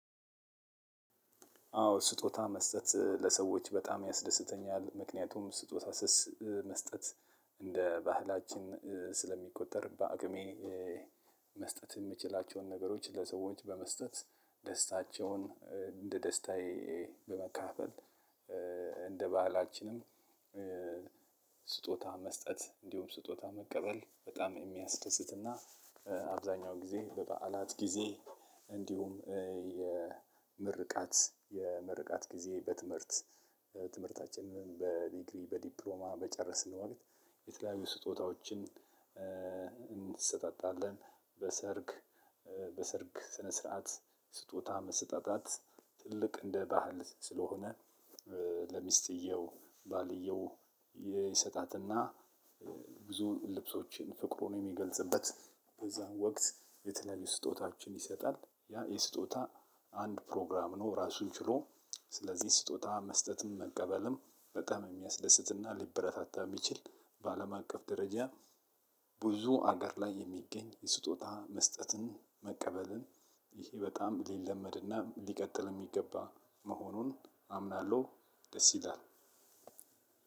አዎ ስጦታ መስጠት ለሰዎች በጣም ያስደስተኛል ምክንያቱም ስጦታ ስሰ መስጠት እንደ ባህላችን ስለሚቆጠር በአቅሜ መስጠት የምችላቸውን ነገሮች ለሰዎች በመስጠት ደስታቸውን እንደ ደስታዬ በመካፈል። እንደ ባህላችንም። ስጦታ መስጠት እንዲሁም ስጦታ መቀበል በጣም የሚያስደስትና። አብዛኛው ጊዜ በበዓላት ጊዜ እንዲሁም የምርቃት የምርቃት ጊዜ በትምህርት ትምህርታችንን በዲግሪ በዲፕሎማ በጨረስን ወቅት የተለያዩ ስጦታዎችን እንሰጣጣለን። በሰርግ በሰርግ ስነስረዓት ስጦታ መሰጣጣት ትልቅ እንደ ባህል ስለሆነ። ለሚስትየው ባልየው ይሰጣትና ብዙ ልብሶችን ፍቅሩን የሚገልጽበት በዛ ወቅት የተለያዩ ስጦታዎችን ይሰጣል። ያ የስጦታ አንድ ፕሮግራም ነው ራሱን ችሎ። ስለዚህ ስጦታ መስጠትም መቀበልም በጣም የሚያስደስትና ሊበረታታ የሚችል። በአለም አቀፍ ደረጃ ብዙ አገር ላይ የሚገኝ የስጦታ መስጠትን መቀበልን። ይሄ በጣም ሊለመድና ሊቀጥል የሚገባ መሆኑን አምናለሁ። ደስ ይላል።